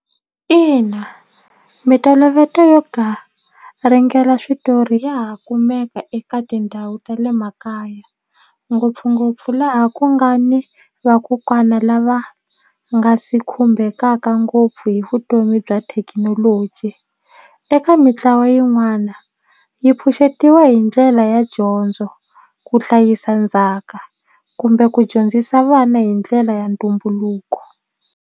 Ina mintolovelo yo garingela switori ya ha kumeka eka tindhawu ta le makaya ngopfungopfu laha ku nga ni vakokwana lava nga si khumbekaka ngopfu hi vutomi bya thekinoloji eka mitlawa yin'wana yi pfuxetiwa hi ndlela ya dyondzo ku hlayisa ndzhaka kumbe ku dyondzisa vana hi ndlela ya ntumbuluko.